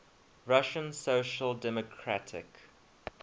russian social democratic